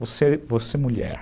Você, você mulher.